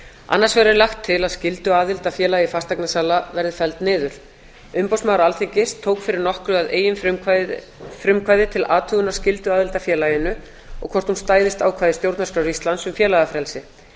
annars vegar er lagt til að skylduaðild að félagi fasteignasala verði felld niður umboðsmaður alþingis tók fyrir nokkru að eigin frumkvæði til athugunar skylduaðild að félaginu og hvort hún stæðist ákvæði stjórnarskrár íslands um félagafrelsi